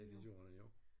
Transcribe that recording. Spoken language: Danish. Ja det gjorde der jo